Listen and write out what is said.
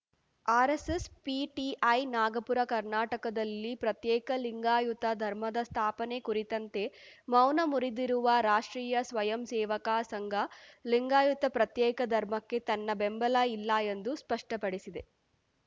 RSS PTI Nagpur ಕರ್ನಾಟಕದಲ್ಲಿ ಪ್ರತ್ಯೇಕ ಲಿಂಗಾಯುತ ಧರ್ಮದ ಸ್ಥಾಪನೆ ಕುರಿತಂತೆ ಮೌನ ಮುರಿದಿರುವ ರಾಷ್ಟ್ರೀಯ ಸ್ವಯಂಸೇವಕ ಸಂಘ ಲಿಂಗಾಯತ ಪ್ರತ್ಯೇಕ ಧರ್ಮಕ್ಕೆ ತನ್ನ ಬೆಂಬಲ ಇಲ್ಲ ಎಂದು ಸ್ಪಷ್ಟಪಡಿಸಿದೆ